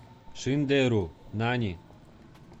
шиндеру нани